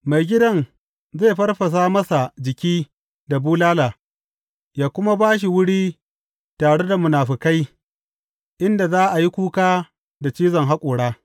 Maigidan zai farfasa masa jiki da bulala, yă kuma ba shi wuri tare da munafukai, inda za a yi kuka da cizon haƙora.